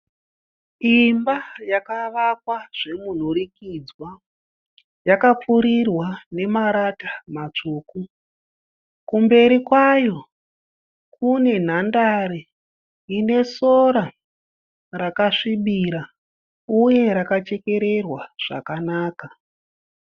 Imba yakavakwa zvomunhurikidzwa. Yakapfurirwa nemarata matsvuku. Kumberi kwayo kune nhandare ine sora rakasvibira uye rakachekererwa zvakakanaka.